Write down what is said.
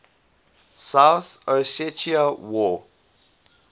south ossetia war